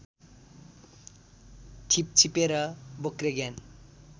छिपछिपे र बोक्रे ज्ञान